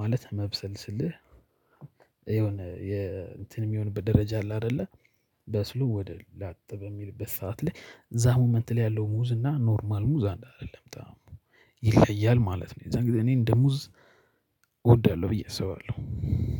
ማለት መብሰል ስልህ የሆነ የእንትን እሚሆንበት ደረጃ አለ። አይደለ በስሎ ወደ ላጥ በሚልበት ሰዓት ላይ እዛ ሙመንት ላይ ያለው ሙዝ እና ኖርማል ሙዝ አንድ አይደለም በጣም ይለያል ማለት ነው። የዛን ጊዜ እኔ እንደ ሙዝ እወዳለሁ ነው ብዬ አስባለሁ